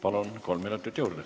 Palun, kolm minutit juurde!